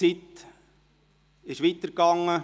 Doch die Zeit lief weiter.